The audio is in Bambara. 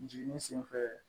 Jiginni senfɛ